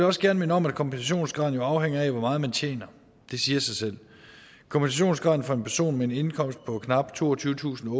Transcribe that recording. også gerne minde om at kompensationsgraden jo afhænger af hvor meget man tjener det siger sig selv kompensationsgraden for en person med en indkomst på knap toogtyvetusinde